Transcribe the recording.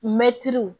Mɛtiri